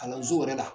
Kalanso yɛrɛ la